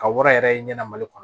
Ka wara yɛrɛ ye ɲɛna mali kɔnɔ